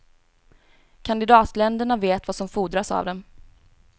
Kandidatländerna vet vad som fordras av dem.